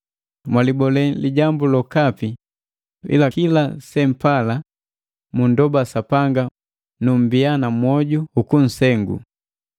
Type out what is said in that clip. Mwalihole lijambu lokapi, ila kila sempala, mundoba Sapanga numbiya na mwoju ukunsengu.